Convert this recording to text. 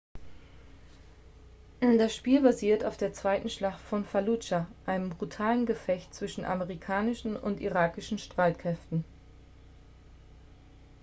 das spiel basiert auf der zweiten schlacht von falludscha einem brutalen gefecht zwischen amerikanischen und irakischen streitkräften